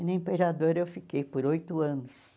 E na Imperador eu fiquei por oito anos.